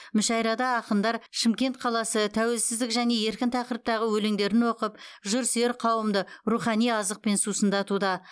мүшәйрада ақындар шымкент қаласы тәуелсіздік және еркін тақырыптағы өлеңдерін оқып жырсүйер қауымды рухани азықпен сусындатуда